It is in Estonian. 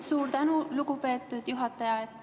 Suur tänu, lugupeetud juhataja!